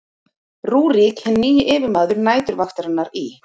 rúrík hinn nýji yfirmaður næturvaktarinnar í